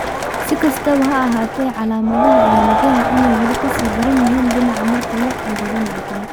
Si kastaba ha ahaatee, calaamadaha ayaa laga yaabaa inay weli ka sii daran yihiin dhinac marka loo eego dhinaca kale.